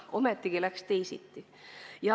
Ometi läks teisiti.